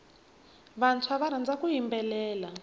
vantshwa va rhandza ku yimbelela